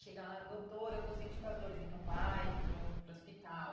Chega lá, doutor, eu tô sentindo as dores, então vai para o para o hospital.